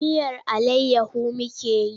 Miyar allayyahu muke yi.